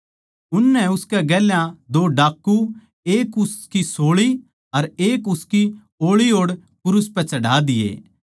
उननै उसकै गेल्या दो डाकू एक उसकी सोळी अर एक उसकी ओळी ओड़ क्रूस पै चढ़ा दिये